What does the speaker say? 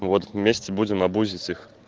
вот вместе будем абузить их